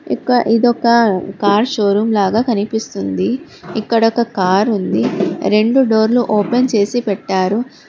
ఇక ఇది ఒక కార్ షోరూమ్ లాగా కనిపిస్తుంది ఇక్కడ ఒక కారు ఉంది రెండు డోర్లు ఓపెన్ చేసి పెట్టారు.